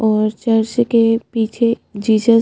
और चर्च के पीछे जीजस--